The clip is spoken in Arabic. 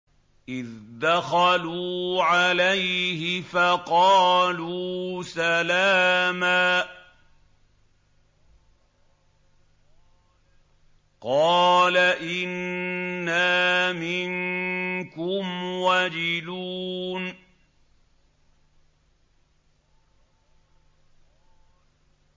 إِذْ دَخَلُوا عَلَيْهِ فَقَالُوا سَلَامًا قَالَ إِنَّا مِنكُمْ وَجِلُونَ